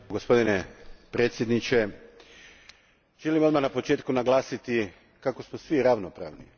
Gospodine predsjedniče, želim odmah na početku naglasiti da smo svi ravnopravni.